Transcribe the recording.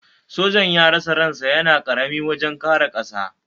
Sojan ya rasa ran sa yana karami wajen kare ƙasarsa.